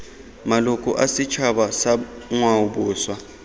maloko a setšhaba sa ngwaoboswa